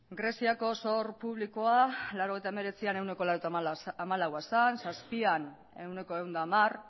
greziako zor publikoa laurogeita hemeretzian ehuneko laurogeita hamalaua zen laurogeita hamazazpian ehuneko ehun eta hamar